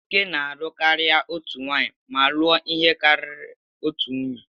Nwoke na-alụ karịa otu nwanyị ma ọ lụọ ihe karịrị otu nwunye.